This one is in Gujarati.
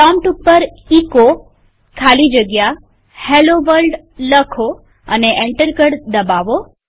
પ્રોમ્પ્ટ ઉપર એચો ખાલી જગ્યા હેલ્લો વર્લ્ડ લખો અને એન્ટર કળ દબાવો